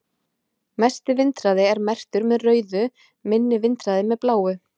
Mesti vindhraði er merktur með rauðu, minni vindhraði með bláu.